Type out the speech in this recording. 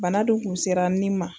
Bana dun kun sira n nin ma